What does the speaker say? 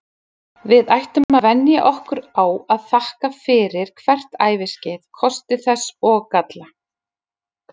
Við ættum að venja okkur á að þakka fyrir hvert æviskeið, kosti þess og galla.